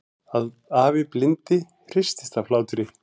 Afi blindi hristist af hlátri.